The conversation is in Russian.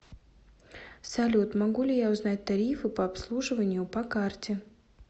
салют могу ли я узнать тарифы по обслуживанию по карте